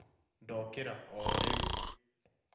Ndokĩra o rĩu